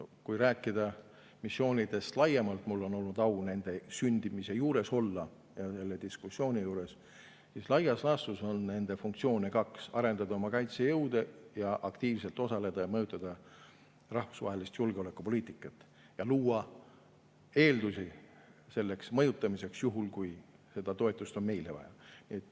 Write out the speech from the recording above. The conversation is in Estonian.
Kui rääkida missioonidest laiemalt – mul on olnud au olla nende sündimise ja selle diskussiooni juures –, siis laias laastus on neil kaks funktsiooni: arendada oma kaitsejõude ning aktiivselt osaleda rahvusvahelises julgeolekupoliitikas, seda mõjutada ja luua eeldusi selleks mõjutamiseks, kui meile on toetust vaja.